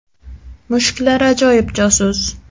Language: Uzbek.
Mushuklar ajoyib josus.